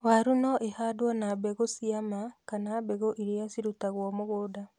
Waru no ĩhandwo na mbegũ ciama kana mbegũ iria cirũtagwo mũgũnda.